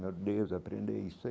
Meu Deus, aprende isso.